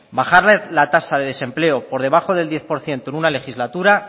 bajar la tasa de desempleo por debajo del diez por ciento en una legislatura